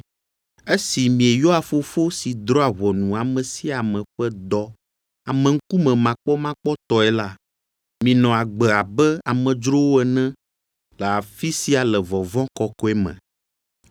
Esi mieyɔa Fofo si drɔ̃a ʋɔnu ame sia ame ƒe dɔ ameŋkumemakpɔmakpɔtɔe la, minɔ agbe abe amedzrowo ene le afi sia le vɔvɔ̃ kɔkɔe me.